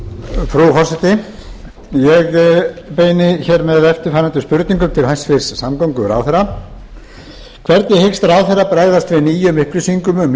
frú forseti ég beini hér með eftirfarandi spurningum til hæstvirts samgönguráðherra fyrsta hvernig hyggst ráðherra bregðast við nýjum upplýsingum um